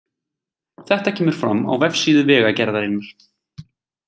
Þetta kemur fram á vefsíðu Vegagerðarinnar